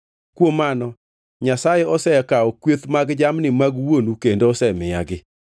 Kuom mano Nyasaye osekawo kweth mag jamni mag wuonu kendo osemiyagi.